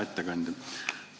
Hea ettekandja!